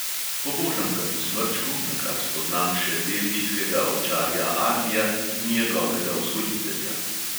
Pobožam ga po smrčku, nakar spoznam še belgijskega ovčarja arnija in njegovega vzgojitelja.